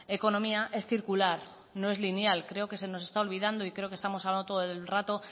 economía es circular no es lineal creo que se nos está olvidando y creo que estamos hablando todo el rato